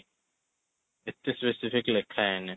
ଏତେ specific ଲେଖା ହେଇନି